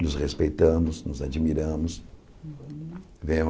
Nos respeitamos, nos admiramos.